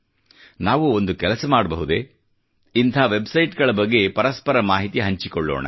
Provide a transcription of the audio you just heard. ನಾವು ಒಂದು ಕೆಲಸ ಮಾಡಬಹುದೇ ಇಂತಹ ವೆಬ್ ಸೈಟ್ ಗಳ ಬಗ್ಗೆ ಪರಸ್ಪರ ಮಾಹಿತಿ ಹಂಚಿಕೊಳ್ಳೋಣ